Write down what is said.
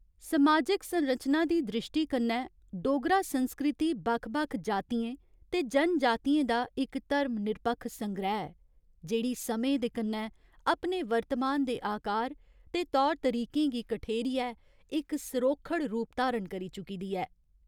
समाजिक संरचना दी द्रिश्टी कन्नै डोगरा संस्कृति बक्ख बक्ख जातियें ते जनजातियें दा इक धर्मनिरपक्ख संग्रैह् ऐ, जेह्ड़ी समें दे कन्नै अपने वर्तमान दे आकार ते तौर तरीकें गी कठेरियै इक सरोखड़ रूप धारण करी चुकी दी ऐ।